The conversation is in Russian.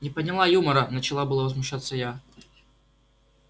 не поняла юмора начала было возмущаться я